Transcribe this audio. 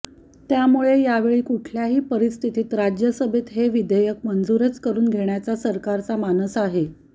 त्यामुळे यावेळी कुठल्याही परिस्थितीत राज्यसभेत हे विधेयक मंजूरच करुन घेण्याचा सरकारचा मानस आहे